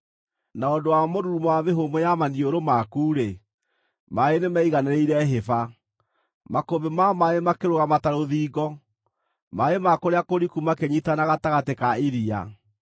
Na ũndũ wa mũrurumo wa mĩhũmũ ya maniũrũ maku-rĩ, maaĩ nĩmeiganĩrĩire hĩba. Makũmbĩ ma maaĩ makĩrũgama ta rũthingo; maaĩ ma kũrĩa kũriku makĩnyiitana gatagatĩ ka iria.